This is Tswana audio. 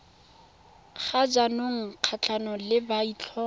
ga jaanong kgatlhanong le maitlhomo